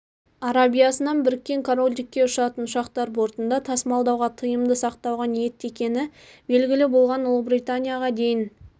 арабиясынан біріккен корольдікке ұшатын ұшақтар бортында тасымалдауға тыйымды сақтауға ниетті екені белгілі болған ұлыбританияға дейін